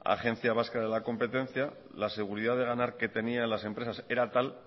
agencia vasca de la competencia la seguridad de ganar que tenían las empresas era tal